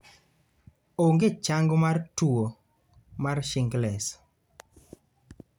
Onge chang mar tuwo mar shingles